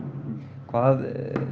hvað